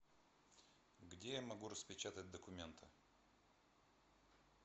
где я могу распечатать документы